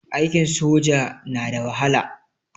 Aikin soja na da wahala.